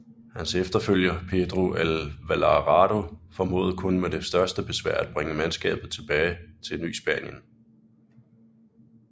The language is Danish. Hans efterfølger Pedro de Alvarado formåede kun med det største besvær at bringe mandskabet tilbage til Ny Spanien